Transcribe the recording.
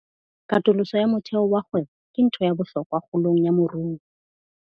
Katoloso ya motheo wa kgwebo ke ntho ya bohlokwa kgolong ya moruo.